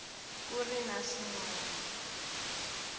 ku ri na swin wana